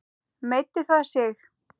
Meiddi það sig?